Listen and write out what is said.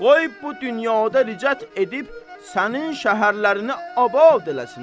Qoy bu dünyada ricət edib sənin şəhərlərini abad eləsinlər.